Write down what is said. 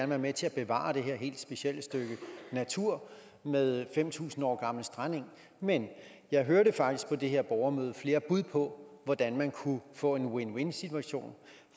være med til at bevare det her helt specielle stykke natur med fem tusind år gammel strandeng men jeg hørte faktisk også på det her borgermøde flere bud på hvordan man kunne få en win win situation